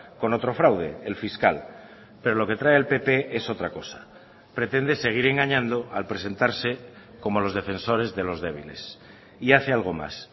con otro fraude el fiscal pero lo que trae el pp es otra cosa pretende seguir engañando al presentarse como los defensores de los débiles y hace algo más